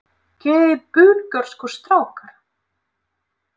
Kunniði Búlgörsku strákar?